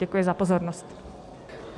Děkuji za pozornost.